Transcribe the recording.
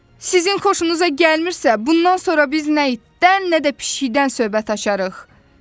Sizin xoşunuza gəlmirsə, bundan sonra biz nə itdən, nə də pişikdən söhbət açarıq.